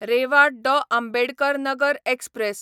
Reva Dr. Ambedkar Nagar express